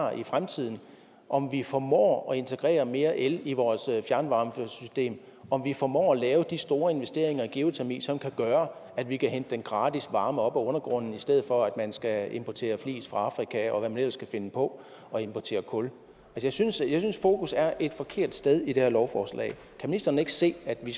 har i fremtiden om vi formår at integrere mere el i vores fjernvarmesystem om vi formår at lave de store investeringer i geotermi som kan gøre at vi kan hente den gratis varme op af undergrunden i stedet for at man skal importere flis fra afrika og hvad man ellers kan finde på og importere kul jeg synes fokus er et forkert sted i det her lovforslag kan ministeren ikke se at vi